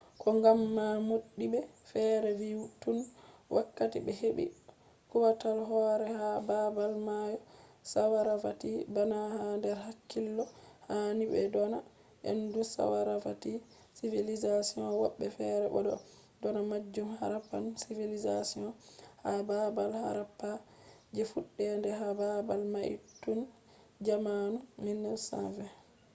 ko gam ma modibbe fere vi tun wakkati be hebi kwutal hore ha babal mayosaravati bana ha der hakkilo hani be dona indus-saravati civilization wobbe fere bo do dona majun harappan civilization ha babal harappa je fudder de ha babal mai tun jamanu 1920`s